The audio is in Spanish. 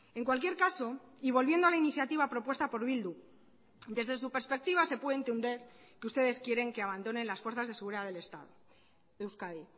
en cualquier caso y volviendo a la iniciativa propuesta por bildu desde su perspectiva se puede entender que ustedes quieren que abandonen las fuerzas de seguridad del estado euskadi